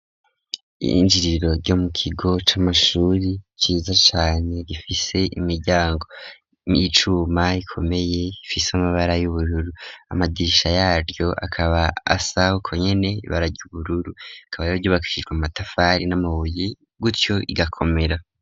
Iyinjiriro ryo mu kigo c'amashure ryiza cane rifise imiryango nicuma ikomeye ifise amabara y'ubururu, amadirisha yaryo akaba asa ukwo nyene barage ubururu rikaba ryubakishijwe mu matafari n'amabuye gutyo rigakomera.